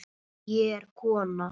Ég er kona